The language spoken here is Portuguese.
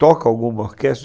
Toca alguma orquestra?